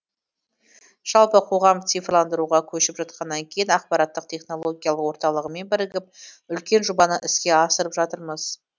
жалпы қоғам цифрландыруға көшіп жатқаннан кейін ақпараттық технологиялық орталығымен бірігіп үлкен жобаны іске асырып жатырмыз